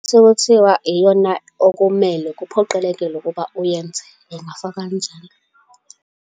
Sekuthiwa iyona okumele, kuphoqelekile ukuba uyenze. Ingafakwa kanjalo.